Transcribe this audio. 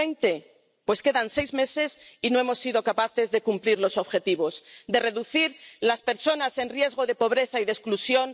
2020? Pues quedan seis meses y no hemos sido capaces de cumplir los objetivos, de reducir el número de personas en riesgo de pobreza y de exclusión.